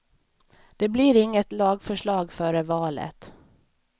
Det blir inget lagförslag före valet.